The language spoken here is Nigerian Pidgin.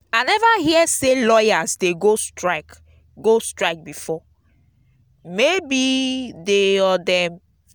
if you enter school eh everywhere dry finish. universities dey on strike.